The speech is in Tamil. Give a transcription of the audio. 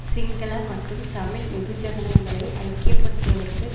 சிங்கள மற்றும் தமிழ் வெகுஜனங்களை ஐக்கிய படுத்துவதற்கு